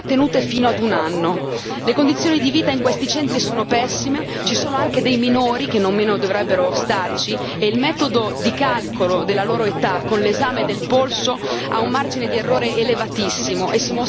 Le condizioni di vita in questi centri sono pessime, ci sono anche dei minori che nemmeno dovrebbero starci e il metodo di calcolo della loro età con l'esame del polso ha un margine di errore elevatissimo e si mostra del tutto inadeguato.